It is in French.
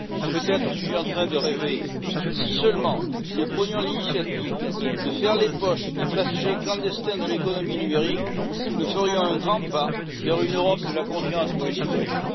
Peut être suis je en train de rêver Si seulement nous prenions l'initiative de faire les poches des passagers clandestins de l'économie numérique, nous ferions un grand pas vers une Europe de la confiance pour les citoyens.